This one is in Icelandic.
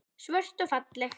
Svört og falleg.